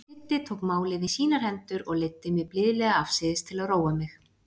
Siddi tók málið í sínar hendur og leiddi mig blíðlega afsíðis til að róa mig.